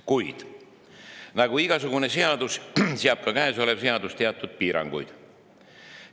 Kuid nagu igasugune seadus, seab ka käesolev seadus teatud piiranguid.